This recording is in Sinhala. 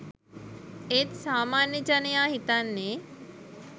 ඒත් සාමාන්‍ය ජනයා හිතන්නේ